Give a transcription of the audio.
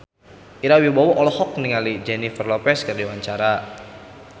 Ira Wibowo olohok ningali Jennifer Lopez keur diwawancara